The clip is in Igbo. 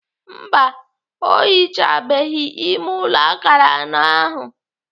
Mba, ọ hichabeghị ime ụlọ akara anọ ahụ.